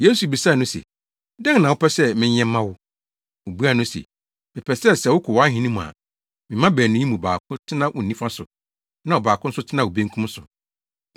Yesu bisaa no se, “Dɛn na wopɛ sɛ menyɛ mma wo?” Obuaa no se, “Mepɛ sɛ, sɛ wokɔ wʼahenni mu a, me mma baanu yi mu baako tena wo nifa so, na ɔbaako nso tena wo benkum so.”